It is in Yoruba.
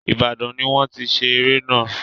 Ìbàdàn ni wọ́n ti ṣe eré náà.